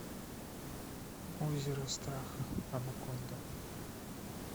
озеро страха анаконда